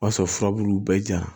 O y'a sɔrɔ furabulu bɛɛ ja